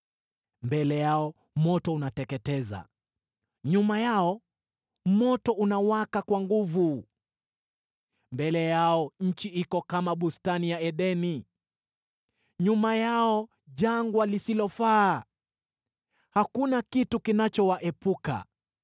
Mbele yao moto unateketeza, nyuma yao miali ya moto inawaka kwa nguvu. Mbele yao nchi iko kama bustani ya Edeni, nyuma yao ni jangwa lisilofaa: hakuna kitu kinachowaepuka.